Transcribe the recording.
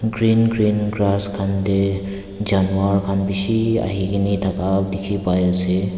green green grass khan te Janwar khan bisi ahe kini thaka dekhi pai ase.